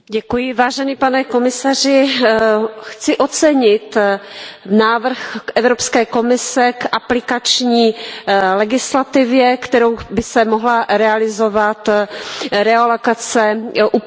Pane komisaři, chci ocenit návrh Evropské komise k aplikační legislativě, kterou by se mohla realizovat realokace uprchlíků.